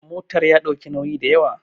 motar ya ɗauki nauyi da yawa